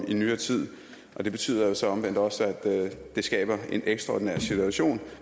i nyere tid og det betyder så omvendt også at det skaber en ekstraordinær situation